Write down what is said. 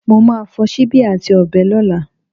Mo má a fo síbí àti ọ̀bẹ lọ́lá